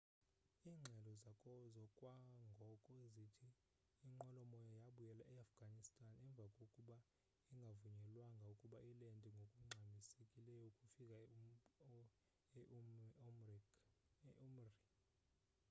iingxelo zakwangoko zithi inqwelomoya yabuyela eafghanistan emva kokuba ingavunyelwanga ukuba ilende ngokungxamisekileyo ukufika e-urmqi